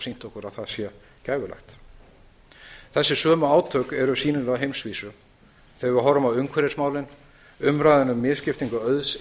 sýnt okkur að það sé gæfulegt þessi sömu átök eru sýnileg á heimsvísu þegar við horfum á umhverfismálin umræðuna um misskiptingu auðs